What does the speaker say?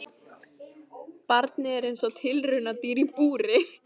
Barnið er eins og tilraunadýr í búri.